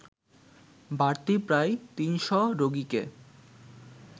বাড়তি প্রায় তিনশ রোগীকে